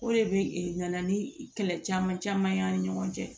O de bɛ e nana ni kɛlɛ caman caman ye an ni ɲɔgɔn cɛ